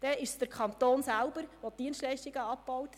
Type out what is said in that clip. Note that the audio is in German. Dann ist es der Kanton selbst, der Dienstleistungen abbaut.